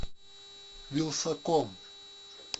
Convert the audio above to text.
вилсаком